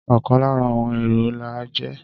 Ọ̀kan lára àwọn èrò la jẹ́.